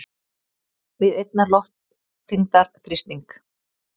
við einnar loftþyngdar þrýsting.